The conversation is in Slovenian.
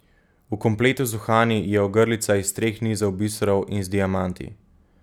V kompletu z uhani je ogrlica iz treh nizov biserov in z diamanti.